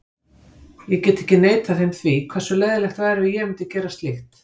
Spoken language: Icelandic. Ég get ekki neitað þeim því, hversu leiðinlegur væri ég ef ég myndi gera slíkt?